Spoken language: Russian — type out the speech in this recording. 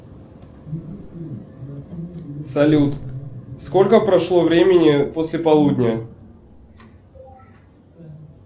салют сколько прошло времени после полудня